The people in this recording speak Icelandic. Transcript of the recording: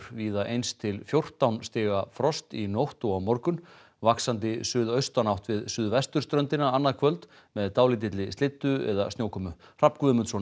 víða eins til fjórtán stiga frost í nótt og á morgun vaxandi suðaustanátt við suðvesturströndina annað kvöld með dálítilli slyddu eða snjókomu Hrafn Guðmundsson